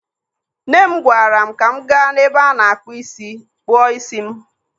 Nne m gwaara m ka m gaa n'ebe a na-akpụ ísí kpụọ ísí m.